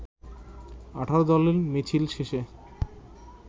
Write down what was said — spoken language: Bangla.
১৮ দলের মিছিল শেষে